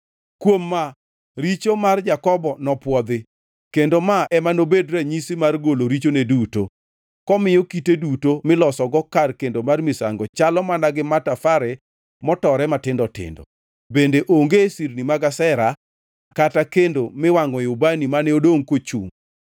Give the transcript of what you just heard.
Kuom ma, richo mar Jakobo nopwodhi, kendo ma ema nobed ranyisi mar golo richone duto: Komiyo kite duto milosogo kar kendo mar misango chalo mana gi matafare motore matindo tindo, bende onge sirni mag Ashera kata kendo miwangʼoe ubani mane odongʼ kochungʼ.